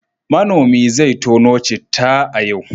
Manomi zai tono citta a yau.